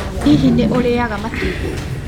Hihi nĩ ũrĩaga matumbĩ?